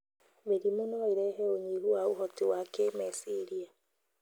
Mĩrimũ no iĩrehe ũnyihu wa ũhoti wa kĩmeciria